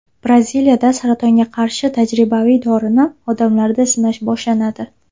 Braziliyada saratonga qarshi tajribaviy dorini odamlarda sinash boshlanadi.